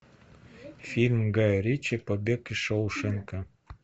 фильм гая ричи побег из шоушенка